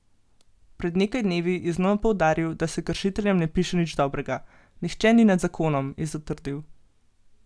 Pred nekaj dnevi je znova poudaril, da se kršiteljem ne piše nič dobrega: "Nihče ni nad zakonom" je zatrdil.